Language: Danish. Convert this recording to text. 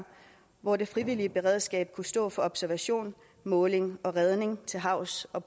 hvor det frivillige beredskab kunne stå for observation måling og redning til havs og